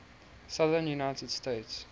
southern united states